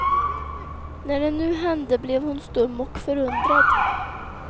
När det nu hände blev hon stum och förundrad.